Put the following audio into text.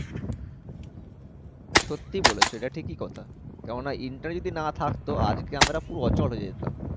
সত্যি বলেছো এটা ঠিকই কথা। কেননা Internet যদি না থাকতো তাহলে আজকে আমরা পুরো অচল হয়ে যেতাম।